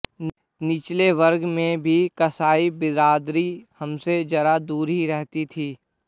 निचले वर्ग में भी कसाई बिरादरी हमसे जरा दूर ही रहती थी